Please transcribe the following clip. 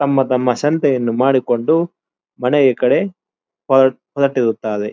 ತಮ್ಮ ತಮ್ಮ ಸಂತೆಯನ್ನು ಮಾಡಿಕೊಂಡು ಮನೆಯ ಕಡೆ ಹೊರಟಿರುತ್ತಾರೆ.